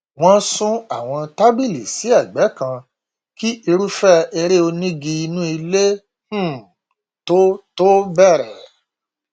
wọn sún àwọn tábìlì sí ẹgbẹ kan kí irúfẹ eré onígi inú ilé um tó tó bẹrẹ